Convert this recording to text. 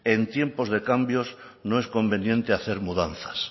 en tiempos de cambios no es conveniente hacer mudanzas